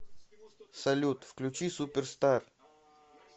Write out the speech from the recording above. салют включи суперстар